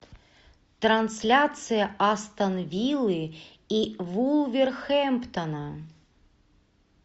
трансляция астон виллы и вулверхэмптона